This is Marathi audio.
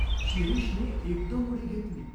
शिरीषने एकदम उडी घेतली.